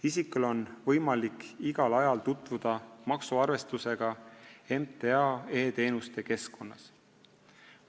Isikul on võimalik igal ajal tutvuda maksuarvestusega MTA e-teenuste keskkonnas.